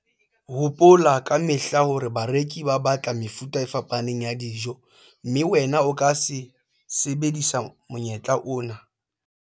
Hopola ka mehla hore bareki ba batla mefuta e fapaneng ya dijo, mme wena o ka sebedisa monyetla ona haholo.